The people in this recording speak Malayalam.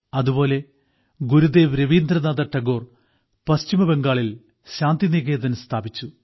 അതുപോലെ ഗുരുദേവ് രവീന്ദ്രനാഥ് ടാഗോർ പശ്ചിമബംഗാളിൽ ശാന്തിനികേതൻ സ്ഥാപിച്ചു